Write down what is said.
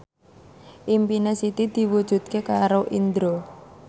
impine Siti diwujudke karo Indro